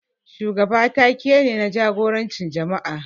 Shugaba ta-ke ne, na jagorancin jama'a.